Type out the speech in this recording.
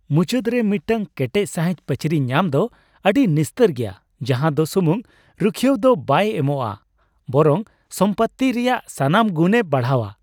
ᱢᱩᱪᱟᱹᱫ ᱨᱮ ᱢᱤᱫᱴᱟᱝ ᱠᱮᱴᱮᱡ ᱥᱟᱹᱦᱤᱡ ᱯᱟᱹᱪᱨᱤ ᱧᱟᱢ ᱫᱚ ᱟᱹᱰᱤ ᱱᱤᱥᱛᱟᱹᱨ ᱜᱮᱭᱟ ᱡᱟᱦᱟᱸ ᱫᱚ ᱥᱩᱢᱩᱝ ᱨᱩᱠᱷᱤᱭᱟᱹᱣ ᱫᱚ ᱵᱟᱭ ᱮᱢᱚᱜ ᱼᱟ, ᱵᱚᱨᱚᱝ ᱥᱚᱢᱯᱚᱛᱛᱤ ᱨᱮᱭᱟᱜ ᱥᱟᱱᱟᱢ ᱜᱩᱱᱮ ᱵᱟᱲᱦᱟᱣᱟ ᱾